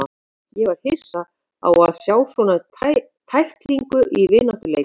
Ég var hissa á að sjá svona tæklingu í vináttuleik.